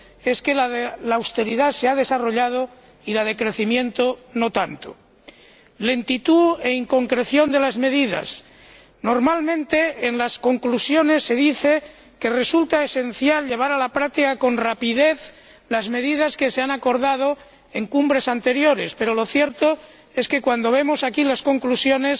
es que la de la austeridad se ha desarrollado y la de crecimiento, no tanto. Lentitud e inconcreción de las medidas normalmente, en las conclusiones se dice que resulta esencial llevar a la práctica con rapidez las medidas que se han acordado en cumbres anteriores, pero lo cierto es que, cuando vemos aquí las conclusiones,